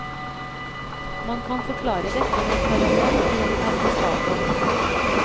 Man kan forklare dette med en parallell til en termostatovn.